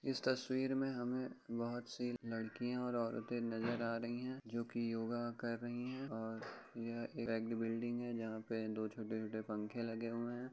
इस तस्वीर में हमें बोहोत -सी लड़कियाँ और औरतें नजर आ रही हैं जोकि योगा कर रही हैं और यहाँ एक बिल्डिंग है जहाँ पे दो छोटे‌-छोटे पंखे लगे हुए है।